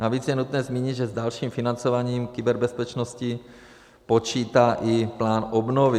Navíc je nutné zmínit, že s dalším financováním kyberbezpečnosti počítá i plán obnovy.